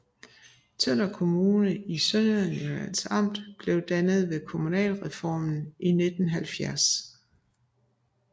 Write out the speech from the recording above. Tønder Kommune i Sønderjyllands Amt blev dannet ved kommunalreformen i 1970